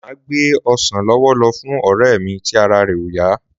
Máa gbe ọsàn lọ́wọ́ lọ fún ọ̀rẹ́ mí tí ara re ò yá.